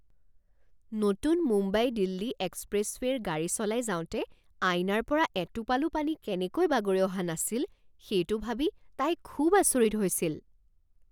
নতুন মুম্বাই দিল্লী এক্সপ্ৰেছৱে'ৰে গাড়ী চলাই যাওঁতে আইনাৰ পৰা এটোপালো পানী কেনেকৈ বাগৰি অহা নাছিল সেইটো ভাবি তাই খুব আচৰিত হৈছিল